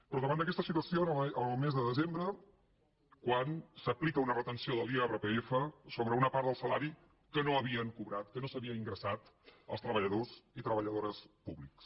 però davant d’aquesta situació el mes de desembre s’aplica una retenció de l’irpf sobre una part del salari que no havien cobrat que no s’havia ingressat als treballadors i treballadores públics